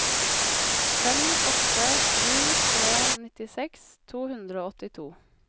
fem åtte sju tre nittiseks to hundre og åttito